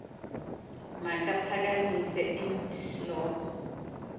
makaphakamise int loko